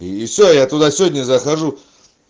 и всё я туда сегодня захожу